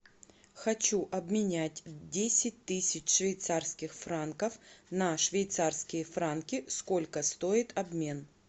хочу обменять десять тысяч швейцарских франков на швейцарские франки сколько стоит обмен